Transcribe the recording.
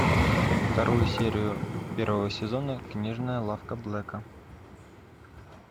вторую серию первого сезона книжная лавка блэка